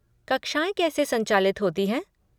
कक्षाएँ कैसे संचालित होती हैं?